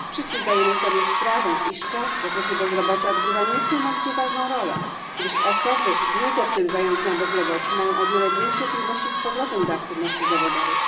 Wszyscy zdajemy sobie sprawę, iż czas w okresie bezrobocia odgrywa niesamowicie ważną rolę, gdyż osoby długo przebywające na bezrobociu mają o wiele większe trudności z powrotem do aktywności zawodowej.